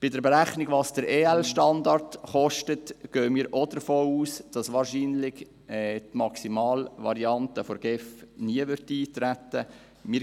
Bei der Berechnung der Kosten für den EL-Standard gehen wir auch davon aus, dass wahrscheinlich die Maximalvariante der GEF nie eintreten wird.